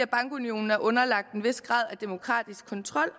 bankunionen er underlagt en vis grad af demokratisk kontrol